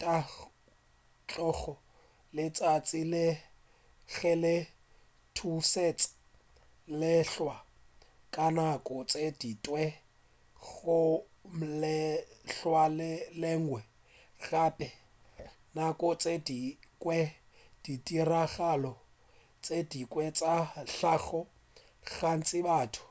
thakgoša ke letšatši ge le thutetša lehlwa ka nako tše dingwe go wa lehlwa le lengwe gape nako tše dingwe ditiragalo tše dingwe tša hlago gantši batho